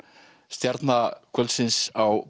stjarna kvöldsins á